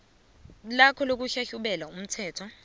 lakho lokuhlahlubela umthelo